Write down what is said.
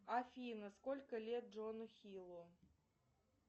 афина сколько лет джону хилу